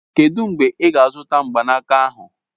Kedụ mgbe ị ga-azụta mgbanaka ahụ?